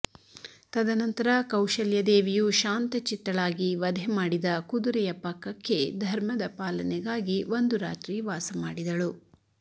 ತದನಂತರ ಕೌಶಲ್ಯದೇವಿಯು ಶಾಂತಚಿತ್ತಳಾಗಿ ವಧೆ ಮಾಡಿದ ಕುದುರೆಯ ಪಕ್ಕಕ್ಕೆ ಧರ್ಮದ ಪಾಲನೆಗಾಗಿ ಒಂದು ರಾತ್ರಿ ವಾಸಮಾಡಿದಳು